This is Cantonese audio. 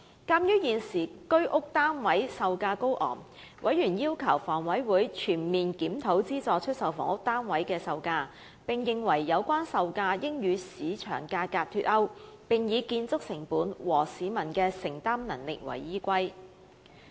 鑒於現時居屋單位售價高昂，委員要求房委會全面檢討資助出售房屋單位的售價，並認為有關售價應與市場價格脫鈎，改以建築成本及市民的承擔能力為基本考慮因素。